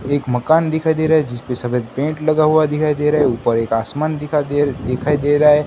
एक मकान दिखाई दे रहा है जिस पे सफेद पेंट लगा हुआ दिखाई दे रहा है ऊपर एक आसमान दिखा दे दिखाई दे रहा है।